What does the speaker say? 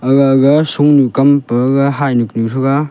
agaga shonu kam pagaga hynyu kunu threga.